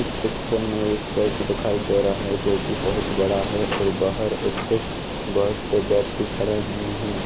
इस पिक्चर में एक चर्च दिखाई दे रहा है जो कि बहुत बड़ा है और बाहर उसके बहुत से व्यक्ति खड़े हुए हैं।